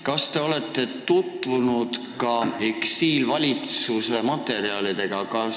Kas te olete tutvunud ka eksiilvalitsuse materjalidega?